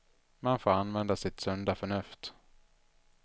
Man får använda sitt sunda förnuft.